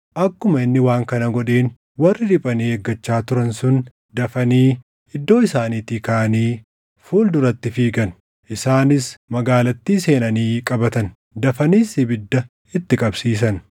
Akkuma inni waan kana godheen warri riphanii eeggachaa turan sun dafanii iddoo isaaniitii kaʼanii fuul duratti fiigan. Isaanis magaalattii seenanii qabatan; dafaniis ibidda itti qabsiisan.